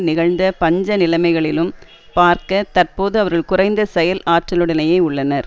நிகழ்ந்த பஞ்ச நிலைமைகளிலும் பார்க்க தற்போது அவர்கள் குறைந்த செயல் ஆற்றலுடனேயே உள்ளனர்